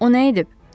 O nə edib?